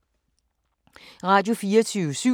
Radio24syv